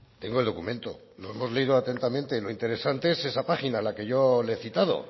tengo el documento lo hemos leído atentamente lo interesante es esa página la que yo le he citado